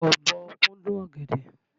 Ọ̀bọ kúndùn ọ̀gẹ̀dẹ̀.